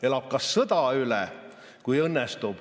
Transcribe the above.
Elab ka sõja üle, kui õnnestub.